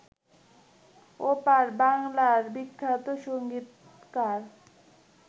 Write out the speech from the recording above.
ওপার বাংলার বিখ্যাত সংগীতকার